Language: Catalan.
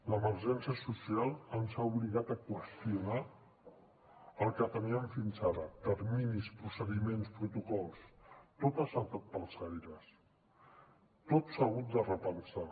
l’emergència social ens ha obligat a qüestionar el que teníem fins ara terminis procediments protocols tot ha saltat pels aires tot s’ha hagut de repensar